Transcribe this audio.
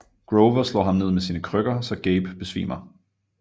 Grover slår ham ned med sine krykker så Gabe besvimer